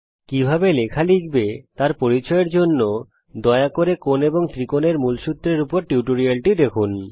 কিভাবে লেখা লিখবে তার পরিচয়ের জন্যে দয়া করে কোণ এবং ত্রিকোণ এর মূলসূত্রের উপর টিউটোরিয়ালটি দেখুন